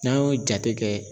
N'an y'o jate kɛ